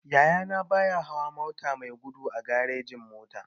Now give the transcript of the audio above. Yaya na baya hawa mota mai gudu a garejin-mota.